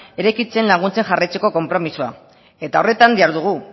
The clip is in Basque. eraikitzen laguntzen jarraitzeko konpromisoa eta horretan dihardugu